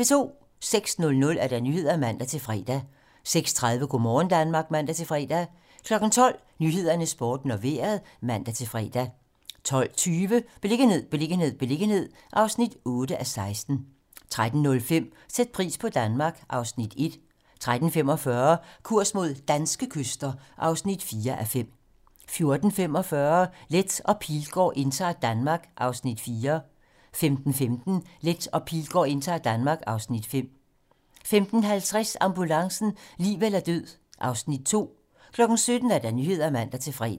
06:00: Nyhederne (man-fre) 06:30: Go' morgen Danmark (man-fre) 12:00: 12 Nyhederne, Sporten og Vejret (man-fre) 12:20: Beliggenhed, beliggenhed, beliggenhed (8:16) 13:05: Sæt pris på Danmark (Afs. 1) 13:45: Kurs mod danske kyster (4:5) 14:45: Leth og Pilgaard indtager Danmark (Afs. 4) 15:15: Leth og Pilgaard indtager Danmark (Afs. 5) 15:50: Ambulancen - liv eller død (Afs. 2) 17:00: Nyhederne (man-fre)